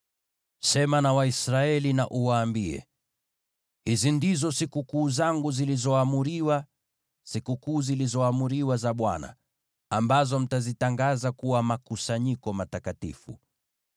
“Sema na Waisraeli na uwaambie: ‘Hizi ndizo sikukuu zangu zilizoamriwa, sikukuu zilizoamriwa za Bwana , ambazo mtazitangaza kuwa makusanyiko matakatifu.